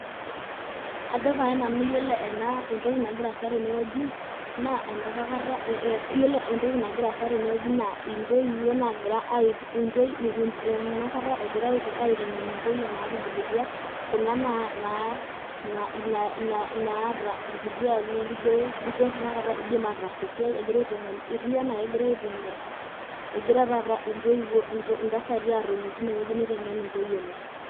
Ojo pae nanu ore entonki nagira aasa teneweji naa enapakata naa intoiwuo naagira aitengen intoyie naatubulutua, naata ilkuti arin naagira aas esiai. etiu anaa kegira aitengen intoyie enye.